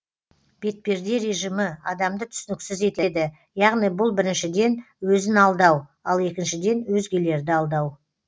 бетперде режимі адамды түсініксіз етеді яғни бұл біріншіден өзін алдау ал екіншіден өзгелерді алдау